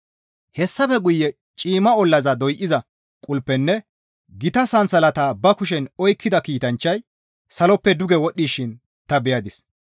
Hessafe guye ciimma ollaza doyza qulpenne gita sansalata ba kushen oykkida kiitanchchay saloppe duge wodhdhishin ta beyadis.